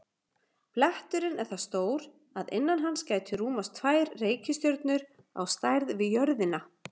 Bletturinn er það stór að innan hans gætu rúmast tvær reikistjörnur á stærð við jörðina.